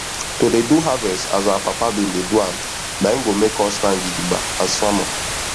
to dey do harvest as our papa bin dey do am na en go make us stand gidigba as farmer